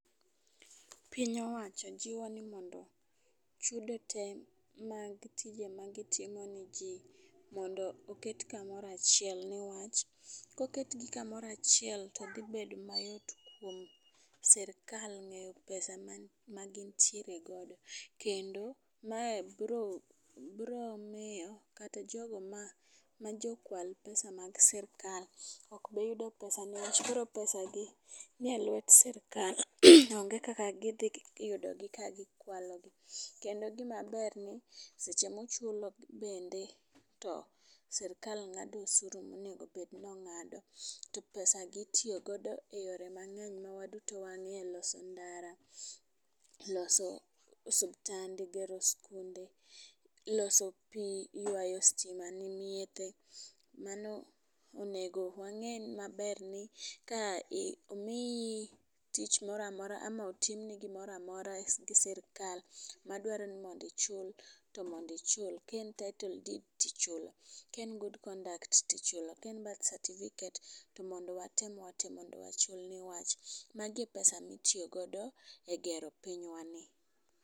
Piny owacho jiwo wa ni mondo chudo te mag tije magitimo ne jii mondo oket kamora chiel newach, koket gi kamoro achiel to gibedo mayot kuom sirikal ng'eyo pesa ma gintiere godo kendo, mae bro bro miyo kata jogo ma ma jokwal pesa mag sirikal ok bi yudo pesa newach koro pesagi nie lwet sirikal. Onge kaka gidhi yudo ka gikwalo gi . Kendo gima ber ni seche michulo bende sirikal ngado osuru monego bed ni ong'ado , to pesa gi itiyo godo e yore mangeny ma waduto wangeyo loso ndara, loso osiptande, gero skunde, loso pii, ywayo stima. Mago onego wange' maber ni ka i omiyi tich moramora ama otimni gimora, mora gi sirikal madwaro ni mondi ichul to mondi ichul kaen title deed tichulo kaen good conduct tichulo, kaen birth certificate to mondo watem wate mondo wachul newach mago e pesa mitiyo godo gero pinywa ni.